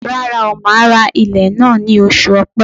Rárá o, màá ra ilẹ̀ náà ní oṣù ọ̀pẹ.